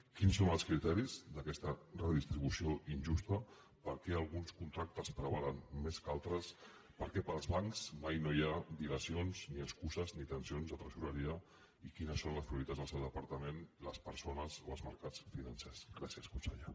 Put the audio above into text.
quins són els criteris d’aquesta redistribució injusta per què alguns contractes prevalen més que d’altres per què per als bancs mai no hi ha dilacions ni excuses ni tensions de tresoreria i quines són les prioritats del seu departament les persones o els mercats financers gràcies conseller